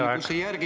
Teie aeg!